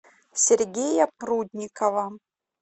сергея прудникова